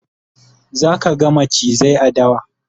zaka ga macizai a dawa